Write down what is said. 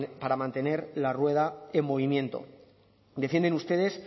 para mantener la rueda en movimiento defienden ustedes